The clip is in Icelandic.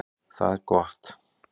Það er gott